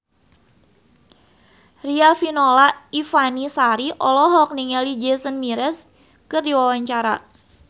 Riafinola Ifani Sari olohok ningali Jason Mraz keur diwawancara